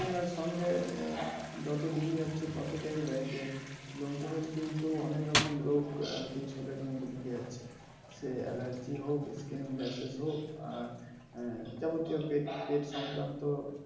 হাআআন, আসলে আহ লোকজনের কিন্তু নানা রকম রোগ আরকি সবের মধ্যে ঢুকে যাচ্ছে। সে allergy হোক কিনবা হোক আর আহ যেমন কেও পেট~ পেট সংক্রান্ত